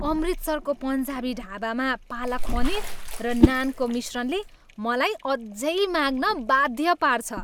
अमृतसरको पन्जाबी ढाबामा पालक पनीर र नानको मिश्रणले मलाई अझै माग्न बाध्य पार्छ।